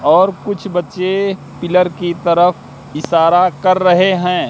और कुछ बच्चे पिलर की तरफ इशारा कर रहे हैं।